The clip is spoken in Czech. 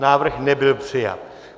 Návrh nebyl přijat.